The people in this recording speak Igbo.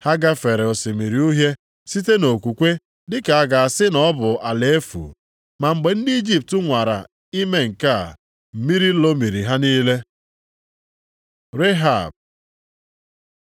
Ha gafere Osimiri Uhie site nʼokwukwe dị ka a ga-asị na ọ bụ ala efu. Ma mgbe ndị Ijipt nwara ime nke a, mmiri lomiri ha niile. Rehab